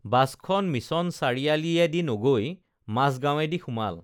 বাছখন মিছন চাৰিআলিয়েদি নগৈ মাজগাৱেঁদি সোমাল